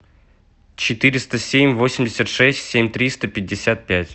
четыреста семь восемьдесят шесть семь триста пятьдесят пять